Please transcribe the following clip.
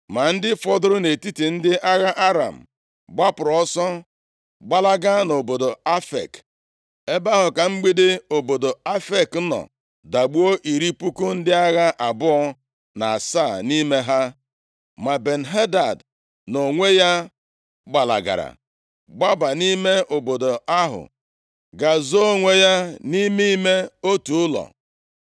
Ma ndị fọdụrụ nʼetiti ndị agha Aram gbapụrụ ọsọ gbalaga nʼobodo Afek. Ebe ahụ ka mgbidi obodo Afek nọ dagbuo iri puku ndị agha abụọ na asaa nʼime ha. Ma Ben-Hadad nʼonwe ya gbalagara, gbaba nʼime obodo ahụ, gaa zoo onwe ya nʼime ime otu ụlọ.